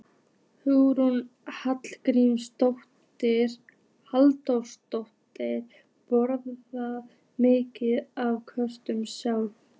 Hugrún Halldórsdóttir: Borðarðu mikið af kökum sjálfur?